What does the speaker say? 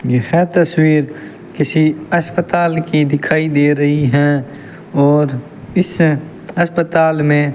यह तस्वीर किसी अस्पताल की दिखाई दे रही हैं और इस हस्पताल में --